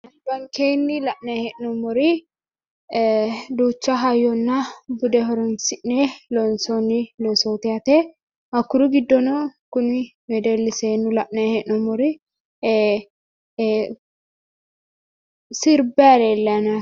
Albankeenni la'nayi he'noommori ee duucha hayyonna bude horonsi'ne loonsoonni loosooti yaate hakkuri giddono kuni wedelli seenni la'nayi he'noommori ee sirbayi leellayo yaate